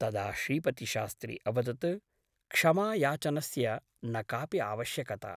तदा श्रीपतिशास्त्री अवदत् क्षमायाचनस्य न कापि आवश्यकता ।